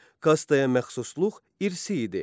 Kastaya məxsusluq irsi idi.